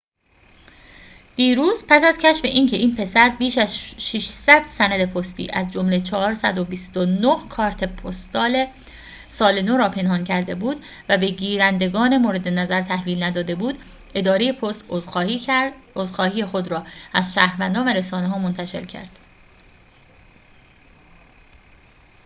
دیروز پس از کشف اینکه این پسر بیش از ۶۰۰ سند پستی از جمله ۴۲۹ کارت پستال سال نو را پنهان کرده بود و به گیرندگان مورد نظر تحویل نداده بود اداره پست عذرخواهی خود را از شهروندان و رسانه ها منتشر کرد